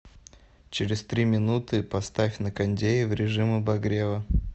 через три минуты поставь на кондее в режим обогрева